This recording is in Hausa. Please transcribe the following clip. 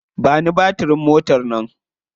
Ba ni batirin motar nan.